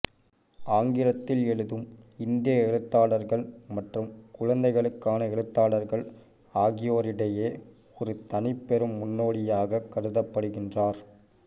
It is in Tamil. ஆங்கிலத்தில் எழுதும் இந்திய எழுத்தாளர்கள் மற்றும் குழந்தைகளுக்கான எழுத்தாளர்கள் ஆகியோரிடையே ஒரு தனிப்பெரும் முன்னோடியாகக் கருதப்படுகின்றார்